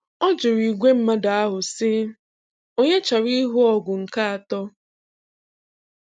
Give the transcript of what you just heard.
Ọ jụrụ ìgwè mmadụ ahụ, sị, ‘Ònye chọrọ ịhụ ọgụ nke atọ?